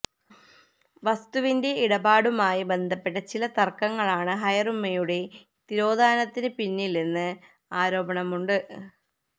വസ്തുവിന്റെ ഇടപാടുമായി ബന്ധപ്പെട്ട ചില തർക്കങ്ങളാണ് ഹയറുമ്മയുടെ തിരോധാനത്തിന് പിന്നിലെന്ന് ആരോപണമുണ്ട്